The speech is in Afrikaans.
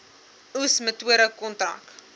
oes metode kontrak